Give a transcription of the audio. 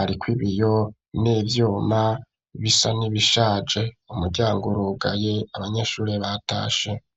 ariko ibiyo, n'ivyuma, bisa n'ibishaje; umuryango urugaye, abanyeshure batashe.